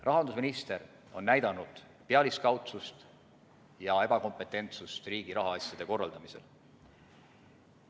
Rahandusminister on näidanud pealiskaudsust ja ebakompetentsust riigi rahaasjade korraldamisel.